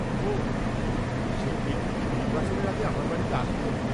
ওঃ, সেই ব্যক্তি কি নির্বাচনের আগে আমার বাড়িতে আসবে?